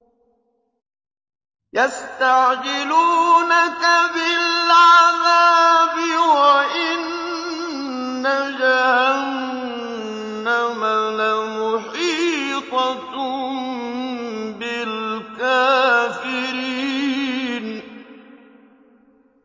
يَسْتَعْجِلُونَكَ بِالْعَذَابِ وَإِنَّ جَهَنَّمَ لَمُحِيطَةٌ بِالْكَافِرِينَ